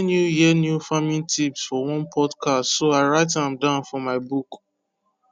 i hear new hear new farming tips for one podcast so i write am down for my book